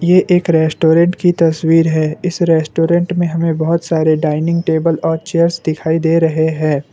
ये एक रेस्टोरेंट की तस्वीर है इस रेस्टोरेंट में हमें बहुत सारे डाइनिंग टेबल और चेयर्स दिखाई दे रहे हैं।